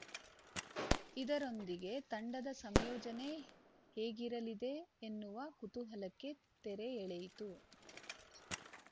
ಇದರೊಂದಿಗೆ ತಂಡದ ಸಂಯೋಜನೆ ಹೇಗಿರಲಿದೆ ಎನ್ನುವ ಕುತೂಹಲಕ್ಕೆ ತೆರೆ ಎಳೆಯಿತು